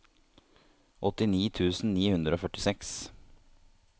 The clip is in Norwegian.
åttini tusen ni hundre og førtiseks